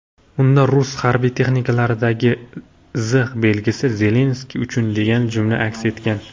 Unda rus harbiy texnikalaridagi "Z" belgisi "Zelenskiy uchun" degan jumla aks etgan.